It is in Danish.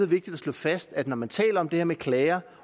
vigtigt at slå fast at når man taler om det her med klager